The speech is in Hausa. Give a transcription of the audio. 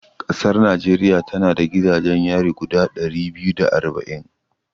Ƙasar Najeriya tana da gidajen yari guda ɗari biyu da arba'in.